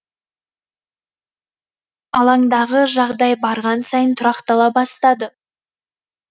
алаңдағы жағдай барған сайын тұрақтала бастады